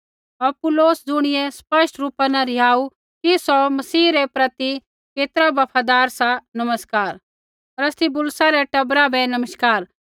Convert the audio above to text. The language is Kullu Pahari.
अपुल्लोस ज़ुणियै स्पष्ट रूपा न रिहाऊ कि सौ मसीह रै प्रति केतरा बफादार सा नमस्कार अरिस्तुबुलुस रै टबरा बै नमस्कार